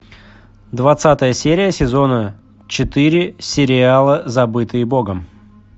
двадцатая серия сезона четыре сериала забытые богом